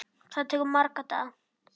Það tekur marga daga!